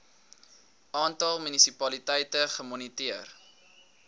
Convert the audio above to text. aantal munisipaliteite gemoniteer